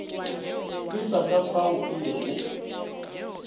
feta ka fao e lego